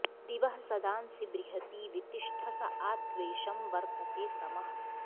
दिवः सदा ँ सि बृहती वि तिष्ठस आ त्वेषं वर्तते तमः